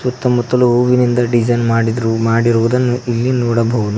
ಸುತ್ತ ಮುತ್ತಲು ಹೂವಿನಿಂದ ಡಿಸೈನ್ ಮಾಡಿದ್ರು ಮಾಡಿರುವುದನ್ನು ಇಲ್ಲಿ ನೋಡಬಹುದು.